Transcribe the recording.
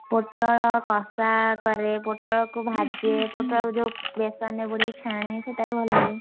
ପୋଟଳ କଷା କରେ, ପୋଟଳକୁ ଭାଜେ, ପୋଟଳକୁ ଯୋଉ ବେସନରେ ବୁଡେଇ ଛାଣେ, ସେଇଟା ବି ଭଲ ଲାଗେ।